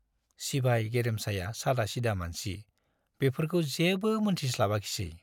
सिबाय गेरेमसाया सादा सिदा मानसि, बेफोरखौ जेबो मोनथिस्लाबाखिसै।